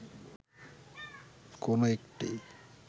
কোন একটি